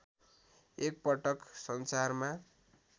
एकपटक संसारमा